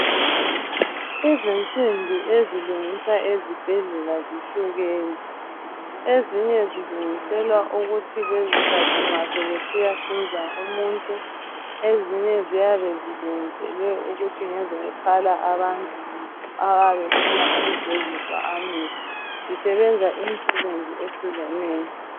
Izinsimbi ezilungiswa ezibhedlela zihlukene. Ezinye zilungiselwa ukusetshenziswa nxa sebesiyahlinza umuntu, ezinye ziyabe zilungiselwa ukuthi ngezokuphala abantu abayabe befuna ukugeziswa amehlo. Zisebenza imisebenzi eyehlukeneyo.